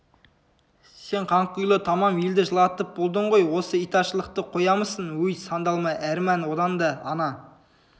сен қанқұйлы тамам елді жылатып болдың ғой осы итаршылықты қоямысың өй сандалма әрман одан да ана